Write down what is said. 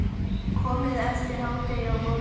Komið eftir hádegi á morgun.